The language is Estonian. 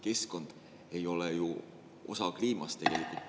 Keskkond ei ole osa kliimast.